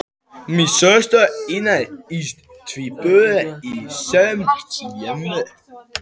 Systur eignuðust tvíbura á sama árinu